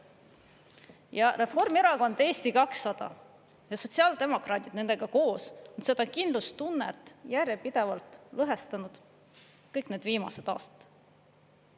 Ja Reformierakond, Eesti 200 ja sotsiaaldemokraadid nendega koos on seda kindlustunnet järjepidevalt lõhestunud kõik need viimased aastad.